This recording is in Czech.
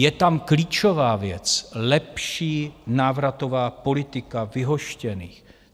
Je tam klíčová věc - lepší návratová politika vyhoštěných.